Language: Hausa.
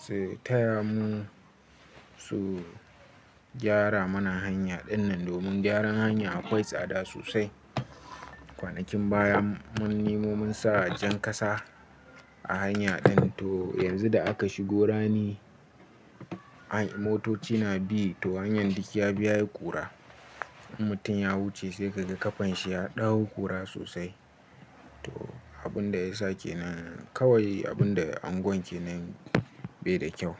su taya mu, su gyara mana hanya dinnan domin gyaran hanya akwai tsada sosai. Kwanakin baya mun nemo mun sa jan kasa a hanya din, to yanzu da aka shigo rani motoci na bi to hanyar duk ya bi yayi kura. Mutum ya wuce sai kaga ƙafan shi ya ɗau kurwa sosai. To abin da ya sake nan kawai abin da unguwar kenan bai da kyau.